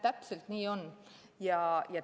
Täpselt nii on.